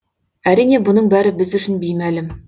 әрине бұның бәрі біз үшін беймәлім